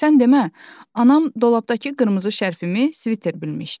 Sən demə, anam dolabdakı qırmızı şərfimi sviter bilmişdi.